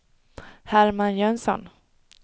Herman Jönsson